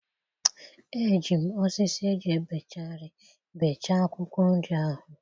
Eji m osisi eji ebecha ihe bechaa akwụkwọ nri ahụ